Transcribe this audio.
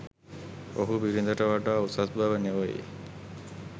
ඔහු බිරිඳට වඩා උසස් බව නොවෙයි